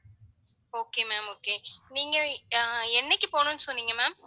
okay ma'am okay நீங்க ஆஹ் என்னைக்கு போகணும்னு சொன்னீங்க ma'am